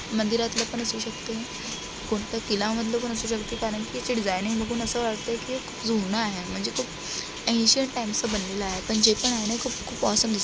मंदिरातल पण असू शकते. कोणता किला मधल पण असू शकते कारण की याची डिझाईनिग बघुन असे वाटत की जून आहे. म्हणजे खूप एन्सीयंट टाइम्स बनलेल आहे. पण जे पण आहे ना खुप खुप ऑसम दिसत--